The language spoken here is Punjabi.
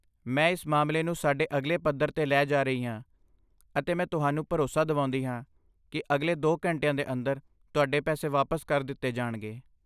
ਮੈਂ ਇਸ ਮਾਮਲੇ ਨੂੰ ਸਾਡੇ ਅਗਲੇ ਪੱਧਰ 'ਤੇ ਲੈ ਜਾ ਰਹੀ ਹਾਂ ਅਤੇ ਮੈਂ ਤੁਹਾਨੂੰ ਭਰੋਸਾ ਦਿਵਾਉਂਦੀ ਹਾਂ ਕੀ ਅਗਲੇ ਦੋ ਘੰਟਿਆਂ ਦੇ ਅੰਦਰ ਤੁਹਾਡੇ ਪੈਸੇ ਵਾਪਸ ਕਰ ਦਿੱਤੇ ਜਾਣਗੇ